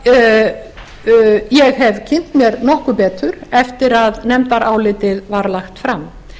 sem ég hef kynnt mér nokkuð betur eftir að nefndarálitið var lagt fram